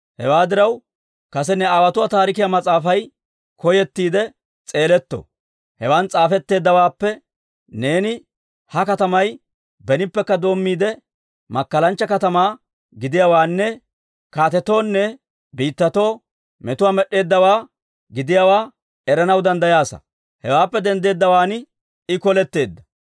Hewaa diraw, kase ne aawotuwaa taarikiyaa mas'aafay koyettiide s'eeletto; hewan s'aafetteeddawaappe neeni ha katamay benippekka doommiide, makkalanchcha katamaa gidiyaawaanne kaatetoonne biittatoo metuwaa med'd'eeddawaa gidiyaawaa eranaw danddayaasa. Hewaappe denddeeddawaan I koletteedda.